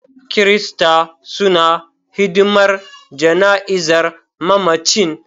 Kirista suna hidimar jana'izar mamacin.